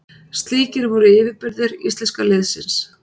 Slíkir voru yfirburðir íslenska liðsins.